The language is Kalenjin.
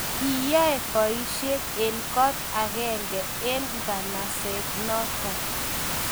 kiyoei poishet eng kot akenge eng naganaset noto